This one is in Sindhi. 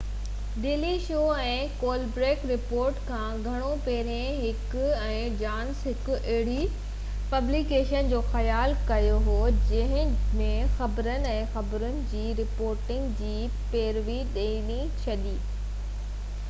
ڊيلي شو ۽ ڪولبرٽ رپورٽ کان گهڻو پهرين هيڪ ۽ جانسن هڪ اهڙي پبليڪيشن جو خيال ڪيو هو جنهن ۾ خبرن—۽ خبرن جي رپورٽنگ جي پيروڊي ٿيندي—جڏهن اهي 1988 ۾ uw جا شاگرد هئا